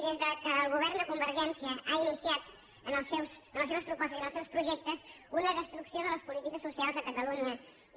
i des que el govern de convergència ha iniciat en les seves propostes i en els seus projectes una destrucció de les polítiques socials a catalunya